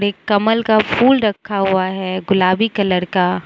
एक कमल का फूल रखा हुआ है गुलाबी कलर का।